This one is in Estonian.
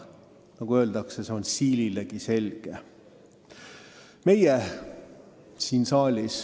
Nagu öeldakse, kõik on siililegi selge.